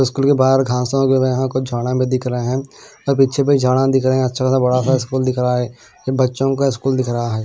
School के बहार घासो वगेरा है कुछ झड़े बी दिख रहे हैऔर पीछे बी झाड़ा दिख रहे हैअच्छा सा बड़ा सा स्कूल दिख रहा हैबच्चों का स्कूल दिख रहा है।